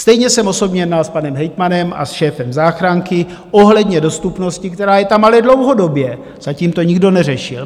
Stejně jsem osobně jednal s panem hejtmanem a se šéfem záchranky ohledně dostupnosti, která je tam ale dlouhodobě, zatím to nikdo neřešil.